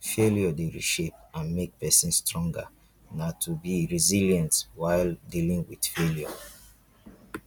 failure dey reshape and make pesin stronger na to be resilience while dealing with failure